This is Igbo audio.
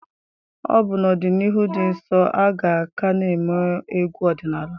Ọbụna n'ọdịnihu dị nso aga ka n'eme egwu odinala